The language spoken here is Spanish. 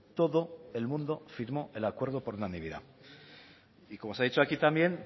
todo el mundo firmó el acuerdo por unanimidad y como se ha dicho aquí también